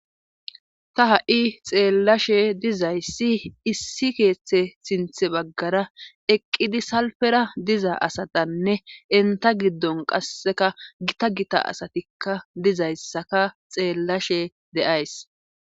Ta ha7i xeellashe dizayssi issi keeththe sinthe baggara eqqidi salfera diza asatanne enta giddon qasseka gita gita asatikka dizayssaka xeellashe deays.